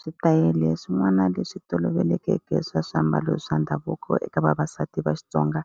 Switayele swin'wana leswi tolovelekeke swa swiambalo swa ndhavuko eka vavasati va Xitsonga